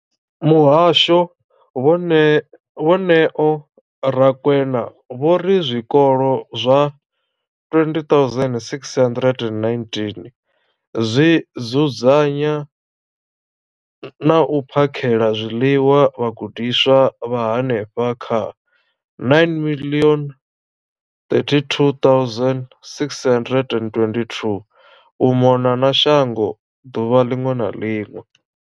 Muhasho, vho Neo Rakwena, vho ri zwikolo zwa 20 619 zwi dzudzanya na u phakhela zwiḽiwa vhagudiswa vha henefha kha 9 032 622 u mona na shango ḓuvha ḽiṅwe na ḽiṅwe.